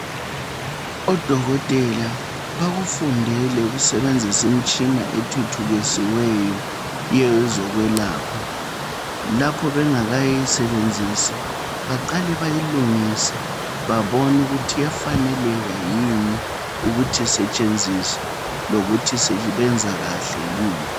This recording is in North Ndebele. Odokotela bakufundele ukusebenzisa imitshina ethuthukisiweyo kiyokwezokwelapha. Lapha bengakayisebenzisi baqale bayilungise babone ukuthi iyafaneleka yini ukuthi isetshenziswe lokuthi benza kahle yini